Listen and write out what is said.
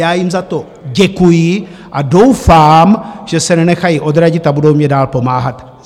Já jim za to děkuji a doufám, že se nenechají odradit a budou mi dál pomáhat.